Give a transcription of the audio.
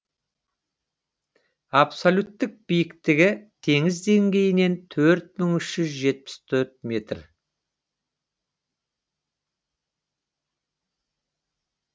абсолюттік биіктігі теңіз деңгейінен төрт мың үш жүз жетпіс төрт метр